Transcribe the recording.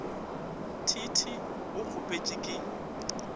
t t a kgopše ke